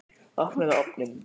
Opnaðu ofninn!